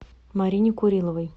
марине куриловой